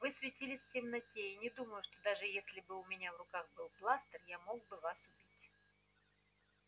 вы светились в темноте и не думаю что даже если бы у меня в руках был бластер я мог бы вас убить